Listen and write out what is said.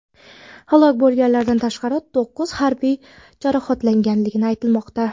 Halok bo‘lganlardan tashqari, to‘qqiz harbiy jarohatlangani aytilmoqda.